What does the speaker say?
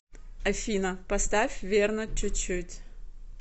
афина поставь верно чуть чуть